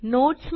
notes